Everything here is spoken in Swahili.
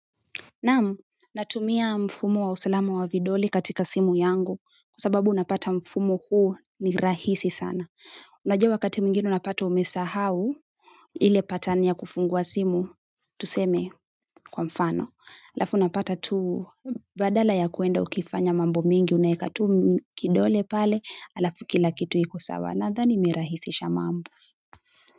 Naam natumia mfumo wa usalama wa vidole katika simu yangu kwa sababu unapata mfumo huu ni rahisi sana unajua wakati mwingine unapata umesahau, ile pattern ya kufungua simu, tuseme kwa mfano. Alafu unapata tu, badala ya kwenda ukifanya mambo mingi unaweka tu kidole pale, alafu kila kitu kiko sawa, nadhani imerahisisha mambo.